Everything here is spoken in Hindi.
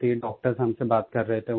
डॉक्टर हमसे बात कर रहे थे